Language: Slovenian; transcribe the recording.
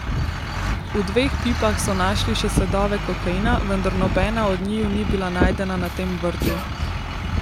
V dveh pipah so našli še sledove kokaina, vendar nobena od njiju ni bila najdena na tem vrtu.